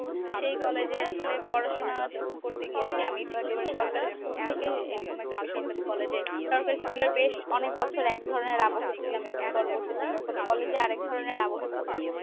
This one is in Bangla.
তো সেই college এ আসলে পড়াশোনা যখন করতে গিয়েছি আমি তো একেবারে সরকারি school থেকে এরকম একটা বেসরকারি college এ সরকারি school এ বেশ অনেক বছর এক ধরনের আবহাওয়া তে ছিলাম এবং পরবর্তী তে যখন college এ আরেক ধরণের আবহে পরলাম